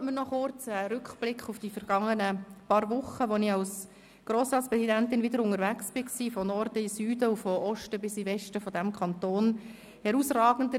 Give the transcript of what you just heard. Erlauben Sie mir einen kurzen Rückblick auf die vergangenen paar Wochen, in welchen ich als Grossratspräsidentin vom Norden in den Süden und vom Osten in den Westen dieses Kantons unterwegs war.